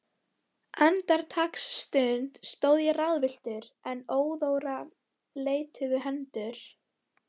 Andartaksstund stóð ég ráðvilltur, en óðara leituðu hendur